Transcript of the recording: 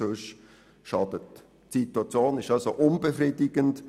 Die Situation ist also unbefriedigend.